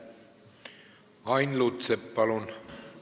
Ain Lutsepp, palun!